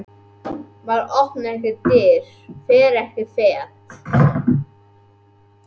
Maður opnar ekki dyr, fer ekki fet.